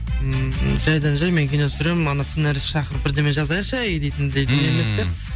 ммм жайдан жай мен кино түсіремін ана сценаристті шақырып бірдеме жазайықшы әй дейтіндей дүние емес сияқты мхм